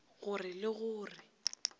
go re le go re